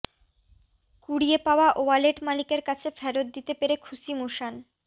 কুড়িয়ে পাওয়া ওয়ালেট মালিকের কাছে ফেরত দিতে পেরে খুশি মুসান